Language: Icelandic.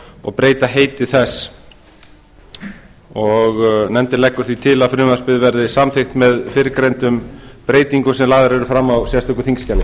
og breyta heiti þess nefndin leggur því til að frumvarpið verði samþykkt með fyrrgreindum breytingum sem lagðar eru fram á sérstöku þingskjali